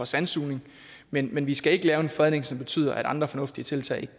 sandsugning men men vi skal ikke lave en fredning som betyder at andre fornuftige tiltag